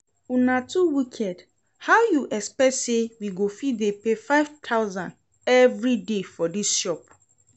Una too wicked, how you expect say we go fit dey pay five thousand every day for dis shop?